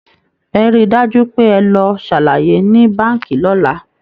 Ẹ rí i dájú pé ẹ lọ ṣàlàyé ní Báǹkì lọ́la!